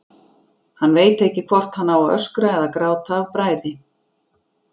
Hann veit ekki hvort hann á að öskra eða gráta af bræði.